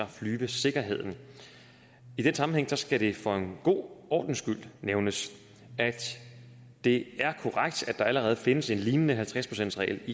flyvesikkerheden i den sammenhæng skal det for en god ordens skyld nævnes at det er korrekt at der allerede findes en lignende halvtreds procentsregel